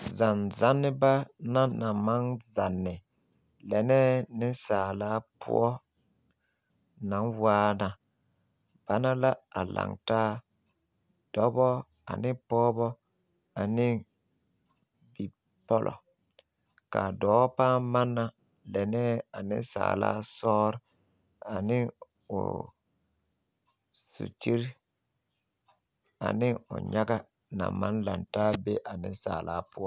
Zamne zanneba naŋ maŋ zanne lɛnɛɛ nensaalaa poɔ naŋ waana ba na a laŋ taa dɔbɔ ane pɔgebɔ ne bipɔllɔ ka a dɔɔ pãã manna lɛnɛɛ a nensaala sɔɔre ane o sukyiri ane o nyaga naŋ maŋ laŋ taa a be a nensaala poɔ.